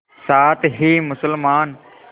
साथ ही मुसलमान